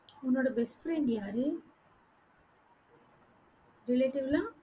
உன்னோட best friend யாரு? relative லாம்